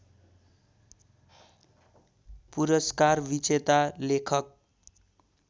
पुरस्कार विजेता लेखक